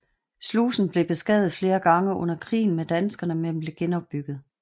Slusen blev beskadiget flere gange under krigen med danskerne men blev genopbygget